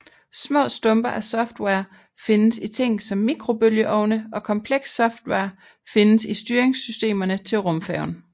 Små stumper af software findes i ting som mikrobølgeovne og komplekst software findes i styringssystemerne til rumfærgen